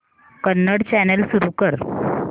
Kannada channel सुरू कर